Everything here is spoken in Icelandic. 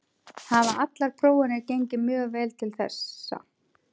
Hafa allar prófanir gengið mjög vel til þessa.